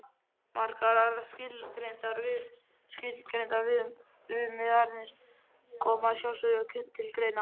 Margar aðrar skilgreindar viðmiðanir koma að sjálfsögðu til greina.